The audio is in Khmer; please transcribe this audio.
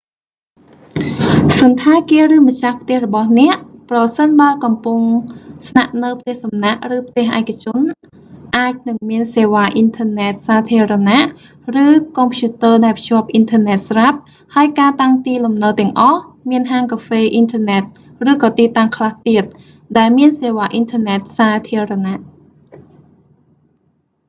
សណ្ឋាគារ ឬម្ចាស់ផ្ទះរបស់អ្នក ប្រសិនបើកំពុងស្នាក់នៅផ្ទះសំណាក់ ឬផ្ទះឯកជន អាចនឹងមានសេវាអ៊ីនធឺណិតសាធារណៈ ឬកុំព្យូទ័រដែលភ្ជាប់អ៊ីនធឺណិតស្រាប់ ហើយការតាំងទីលំនៅទាំងអស់ មានហាងកាហ្វេអ៊ីនធឺណិតឬក៏ទីតាំងខ្លះទៀត ដែលមានសេវាអ៊ីនធឺណិតសាធារណៈ